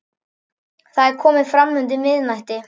Það er komið fram undir miðnætti.